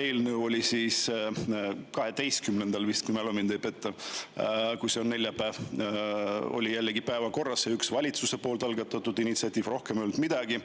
eelnõu oli päevakorras vist 12‑ndal, kui mu mälu mind ei peta – kui see on neljapäev – ja peale selle oli päevakorras üks valitsuse algatatud initsiatiiv, rohkem ei olnud midagi.